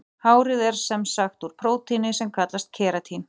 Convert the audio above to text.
Hárið er sem sagt úr prótíni sem kallast keratín.